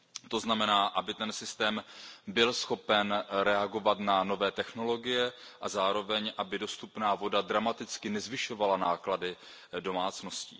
To znamená, aby ten systém byl schopen reagovat na nové technologie, a zároveň, aby dostupná voda dramaticky nezvyšovala náklady domácností.